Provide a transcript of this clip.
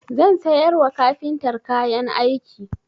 Zan sayar wa kafintar kayan ɗaki.